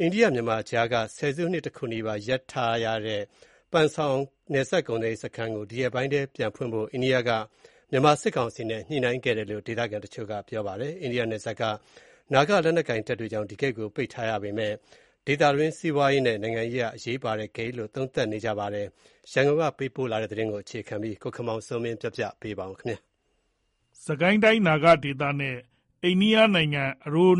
အိန္ဒိယ-မြန်မာကြားက ဆယ်စုနှစ်တခုနီးပါး ရပ်တန့်ထားတဲ့ ပန်ဆောင်နယ်စပ်ကုန်သွယ်ရေးစခန်းကို ဒီရက်ပိုင်းထဲမှာ ပြန်ဖွင့်သွားဖို့ အိန္ဒိယကမြန်မာစစ်ကောင်စီနဲ့ ညှိနှိုင်းခဲ့တယ်လို့ ဒေသခံတချို့က ဗွီအိုအေကို ပြောပါတယ်။ အိန္ဒိယနယ်စပ်က နာဂလက်နက်ကိုင်တွေကြောင့် ဒီဂိတ်ကို ပိတ်ထားရပေမဲ့ အိန္ဒိယအတွက်တော့ ဒီနယ်စပ်ဂိတ်ဟာ ဒေသတွင်းနိုင်ငံတွေနဲ့ ဆက်သွယ်တာမှာ စီးပွားရေးရော နိုင်ငံရေးအရပါ အရေးပါတဲ့ ဂိတ်တခုဖြစ်တယ်လို့ သုံးသပ်နေတာလည်း ရှိပါတယ်။ ရန်ကုန်က သတင်းပေးပို့ထားပါတယ်။ စစ်ကိုင်းတိုင်း နာဂဒေနဲ့ အာရန်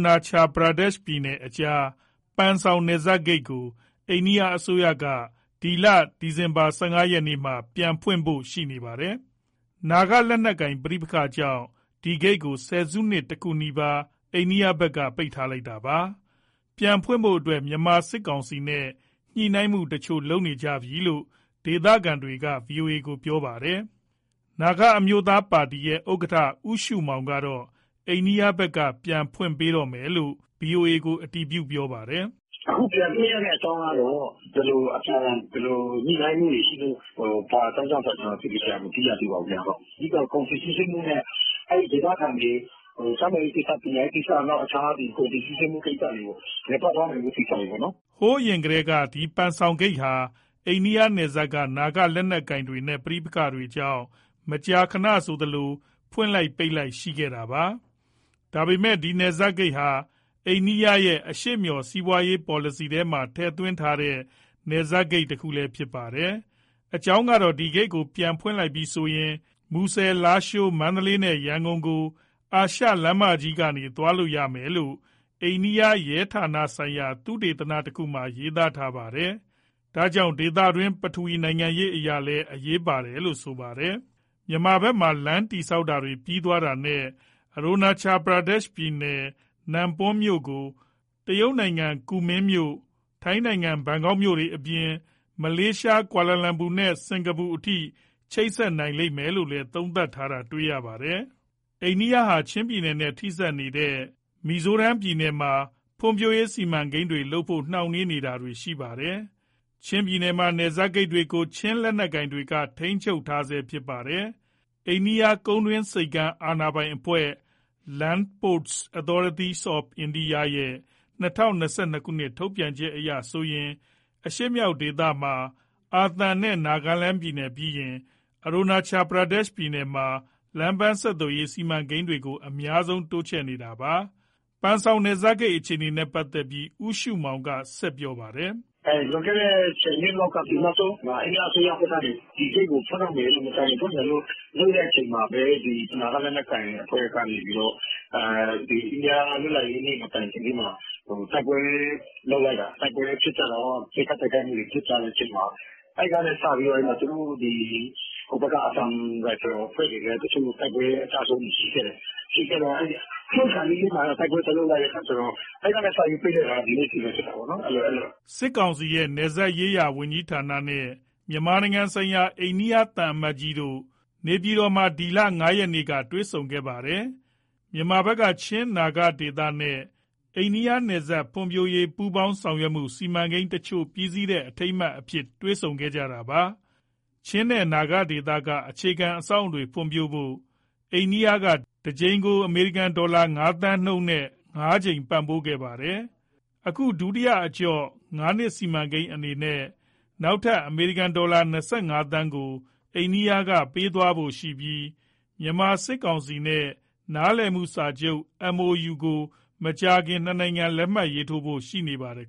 နာချယ် ကြားက ပန်ဆောင်နယ်စပ်ဂိတ်ကို အိန္ဒိယအစိုးရက အခု ဒီဇင်ဘာလ ၁၅ ရက်မှာ ပြန်ဖွင့်ဖို့ရှိနေပါတယ်။ နာဂလက်နက်ကိုင်ပဋိပက္ခ ကြောင့် ဒီဂိတ်ကို ဆယ်စုနှစ်တခုနီးပါး အိန္ဒိယဘက်က ပိတ်လိုက်တာပါ။ ပြန်ဖွင့်ဖို့ မြန်မာစစ်ကောင်စီနဲ့ ညှိနှိုင်းမှုတချို့ ပြုလုပ်ခဲ့တယ်လို့လည်း ဒေသခံတချို့က ဗွီအိုအေကို ပြောပါတယ်။ နာဂအမျိုးသား ပါတီဥက္ကဋ္ဌ ဦးရှုမောင်က အိန္ဒိယဘက်က ပြန်ဖွင့်ပေးတော့မယ်လို့ ဗွီအိုအေကို အတည်ပြုပါတယ်။ "အခုပြန်ဖွင့်ရတဲ့ အကြောင်းကတော့ ဘယ်လိုအပြန်အလှန် ညှိနှိုင်းမှုတွေရှိလို့ ဘာအကြောင်း ကြောင့်ဆိုတာ ကျနော်သေချာ မသိရသေးပါဘူးဗျ၊ အဓိကတော့ ကုန်စည်စီးဆင်းမှုနဲ့ အဲဒီဒေသခံတွေ ကျန်းမာရေးကိစ္စ၊ ပညာရေးကိစ္စ နောက် အခြားကုန်စည်စီးဆင်းမှုကိစ္စ လည်ပတ်သွားနိုင်ဖို့ ကိစ္စတွေပေါ့နော်။" ဟိုးအရင်ကတည်းက ဒီပန်ဆောင်ဂိတ်ဟာ အိန္ဒိယနယ်စပ်က နာဂလက်နက်ကိုင်တွေနဲ့ ပဋိပက္ခ တွေကြောင့် မကြာခဏဆိုသလို ပိတ်လိုက်၊ ဖွင့်လိုက် ရှိခဲ့တာပါ။ ဒါပေမဲ့ ဒီနယ်စပ်ဂိတ်ဟာ အိန္ဒိယရဲ့ အရှေ့မျှော် စီးပွားရေးပေါ်လစီထဲမှာ ထည့်သွင်းထားတဲ့ နယ်စပ်ဂိတ်တခုလည်း ဖြစ်ပါတယ်။ အကြောင်းကတော့ ဒီဂိတ်ကို ပြန်ဖွင့်လိုက်ပြီဆိုရင် မူဆယ်၊ လားရှိုး၊ မန္တလေးနဲ့ ရန်ကုန်ကို အာရှလမ်းမကြီးကနေ သွားလို့ရမယ်လို့ အိန္ဒိယရဲ့ ဌာနဆိုင်ရာ သုတေသနတခုမှာ ရေးသားထားပါတယ်။ ဒါကြောင့် ဒေသတွင်း ပထဝီနိုင်ငံရေးအရလည်း အရေးပါတယ်လို့ ဆိုပါတယ်။ မြန်မာဘက်မှာ လမ်းတည်ဆောက်တာတွေ ပြီးသွားတာနဲ့ အာရန်နာချယ်ပြည်နယ်၊ Nanpong မြို့ကို တရုတ်ကူမင်းမြို့၊ ထိုင်းနိုင်ငံဘန်ကောက်မြို့တွေအပြင် မလေးရှား ကွာလာလမ်ပူနဲ့ စင်္ကာပူအထိ ချိတ်ဆက်နိုင်လိမ့်မယ်လို့လည်း သုံးသပ်ထားတာ တွေ့ရပါတယ်။ အိန္ဒိယဟာ ချင်းပြည်နယ်နဲ့ ထိစပ်နေတဲ့ သူ့ရဲ့ ပြည်နယ်တွေမှာ ဖွံ့ဖြိုးရေးစီမံကိန်းတွေလုပ်ဖို့ နှောင့်နှေးနေတာတွေရှိပါတယ်။ ချင်းပြည်နယ်ထဲက နယ်စပ်ဂိတ်တွေကိုတော့ ချင်းလက်နက်ကိုင် တွေက ထိန်းချုပ်ထားဆဲဖြစ်ပါတယ်။ အိန္ဒိယကုန်းတွင်းဆိပ်ကမ်း အာဏာပိုင်အဖွဲ့ (Land Ports Authority of India) ရဲ့ ၂၀၂၂ ထုတ်ပြန်ချက်အရဆိုရင် အရှေ့မြောက်ဒေသမှာ အာသံနဲ့ နာဂလန်ပြည်နယ်ပြီးရင် အာရန်နာချယ်ပြည်နယ်မှာ လမ်းပန်း ဖွံ့ဖြိုးရေးစီမံကိန်းတွေကို အများဆုံး တိုးချဲ့နေတာပါ။ ပန်ဆောင်နယ်စပ်ဂိတ် အခြေအနေနဲ့ ပတ်သက်ပြီး ဦးရှုမောင်က ဆက်ပြောပါတယ်။ "လွန်ခဲ့တဲ့ ၁၀ နှစ်လောက်က အိန္ဒိယအစိုးရကနေ ဒီဂိတ်ကို မကြာခင်ဖွင့်မယ်လို့ လုပ်တဲ့အချိန်မှာပဲ နာဂလက်နက်ကိုင်အဖွဲ့က အိန္ဒိယလွပ်လပ်ရေးနေ့ မတိုင်ခင်လေးမှာ တိုက်ပွဲလုပ်လိုက်တော့ ပစ်ခတ် တိုက်ခိုက်မှုတွေ ဖြစ်ကြတဲ့အချိန်မှာ အဲဒီကနေစပြီး သူတို့ ဟိုဘက်က အာသံရိုင်ဖယ်အဖွဲ့တွေလည်း အကျဆုံးတွေရှိခဲ့တယ်။ ဖွင့်ခါနီး တိုက်ပွဲသွားလုပ်လိုက်တော့ အဲဒီကနေပိတ်လိုက်တာ ဒီနေ့အထိပဲ ဖြစ်တာပေါ့နော်။" စစ်ကောင်စီရဲ့ နယ်စပ်ရေးရာ ဝန်ကြီးဌာနနဲ့ မြန်မာနိုင်ငံဆိုင်ရာ အိန္ဒိယသံအမတ်ကြီးတို့ နေပြည်တော်မှာ အခုလ ၅ ရက်က တွေ့ဆုံခဲ့ပါတယ်။ မြန်မာဘက်က ချင်း၊ နာဂဒေသနဲ့ အိန္ဒိယ နယ်စပ်ဒေသ ဖွံ့ဖြိုးရေး ပူးပေါင်းဆောင်ရွက်မှု စီမံကိန်းတချို့ ပြီးစီးတဲ့ အထိမ်းအမှတ်အဖြစ် တွေ့ဆုံကြတာပါ။ ချင်းနဲ့ နာဂဒေသက အခြေခံအဆောက်အဦတွေ ဖွံ့ဖြိုးဖို့ အိန္ဒိယက တကြိမ်ကို အမေရိကန်ဒေါ်လာ ၅ သန်းနှုန်းနဲ့ ငါးကြိမ်ပံ့ပိုးခဲ့ပါတယ်။ အခု ဒုတိယအကြော့ ငါးနှစ်စီမံကိန်းအနေနဲ့ နောက်ထပ် အမေရိကန်ဒေါ်လာ ၂၅သန်းကို အိန္ဒိယက ပေးသွားဖို့ရှိပြီး မြန်မာစစ်ကောင်စီနဲ့ နားလည်မှုစာချုပ် MoU ကို မကြာခင် နှစ်နိုင်ငံ ရေးထိုးဖို့ရှိနေပါတယ်